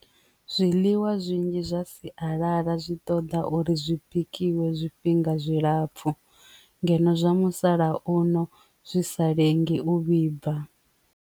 Zwiḽiwa zwinzhi zwa sialala zwi ṱoḓa uri zwipikwa iwe zwifhinga zwilapfhu ngeno zwa musalauno zwi sa lengi u vhibva.